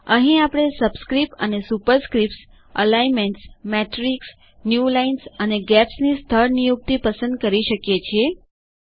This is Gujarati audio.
અહીં આપણે સબસ્ક્રિપ્ટ્સ અને સુપરસ્ક્રિપ્ટ્સ alignmentsમેટ્રિક્સ ન્યૂ લાઇન્સ અને gapsની સ્થળ નિયુક્તિ પસંદ કરી શકીએ છીએ